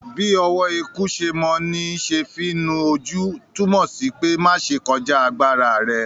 “Bí ọwọ́ eku se mọ ní se fí nu ojú” túmọ̀ sí pé má ṣe kọjá agbára rẹ.